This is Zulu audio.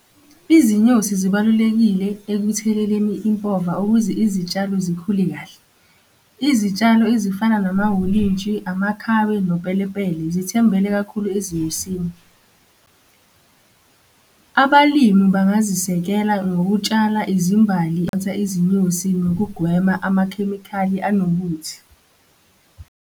Izinyosi zibalulekile ekutheleleni impova ukuze izitshalo zikhule kahle. Izitshalo ezifana namahholintshi, amakhabe, nopelepele zithembele kakhulu ezinyosini. Abalimi bangazisekela ngokutshala izimbali, izinyosi, nokugwema amakhemikhali anobuthi.